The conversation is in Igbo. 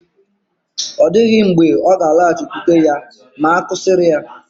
Ọ dịghị mgbe ọ ga-alọghachikwute ya ma a kụsịrị ya